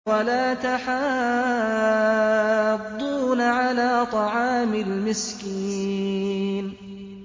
وَلَا تَحَاضُّونَ عَلَىٰ طَعَامِ الْمِسْكِينِ